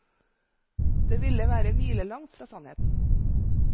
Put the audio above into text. Det ville være milelangt fra sannheten.